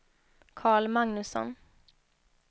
Karl Magnusson